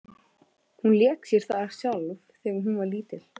Hún lék sér þar sjálf þegar hún var lítil.